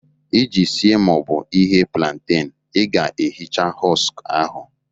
Iji sie ma ọ bụ ighe plantain, ị ga-ehicha husk ahụ